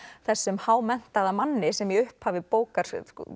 þessum hámenntaða manni sem í upphafi bókar